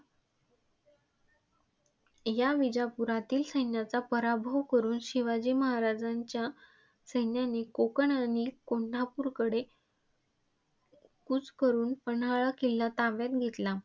या विजापुरातील सैन्याचा पराभव करुन शिवाजी महाराजांच्या सैन्याने कोंकण आणि कोल्हापूरकडे कूच करुन पन्हाळा किल्ला ताब्यात घेतला.